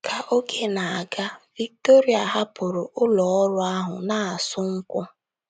Ka oge na - aga, Victoire hapụrụ ụlọ ọrụ ahụ na - asụ nkwụ.